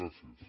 gràcies